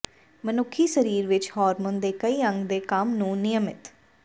ਮਨੁੱਖੀ ਸਰੀਰ ਵਿੱਚ ਹਾਰਮੋਨ ਦੇ ਕਈ ਅੰਗ ਦੇ ਕੰਮ ਨੂੰ ਿਨਯਮਤ